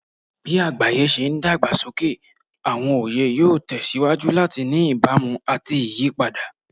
Bí àgbáyé ṣe ń dàgbà sókè, àwọn oyè yóò tẹ̀ síwájú láti ní ìbámu àti ìyípadà.